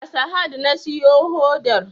A sahad na siyo hodar